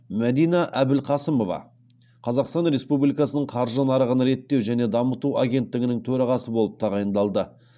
мәдина әбілқасымова қазақстан республикасының қаржы нарығын реттеу және дамыту агенттігінің төрағасы болып тағайындалды